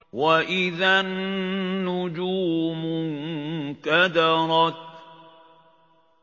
وَإِذَا النُّجُومُ انكَدَرَتْ